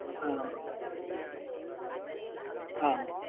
ആണോ? ആഹ്